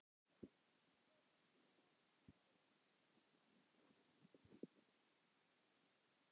Hefur spilað úr lífsins hönd.